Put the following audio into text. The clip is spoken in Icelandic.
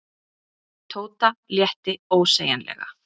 Tóta létti ósegjanlega.